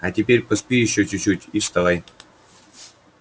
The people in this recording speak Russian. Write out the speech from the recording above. а теперь поспи ещё чуть-чуть и вставай